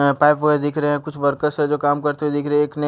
अ pipe वारा दिख रहे हैं कुछ वर्कर्स हैं जो काम करते दिख रहे हैं एक ने --